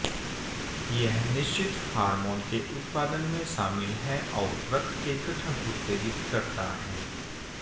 यह निश्चित हार्मोन के उत्पादन में शामिल है और रक्त के गठन उत्तेजित करता है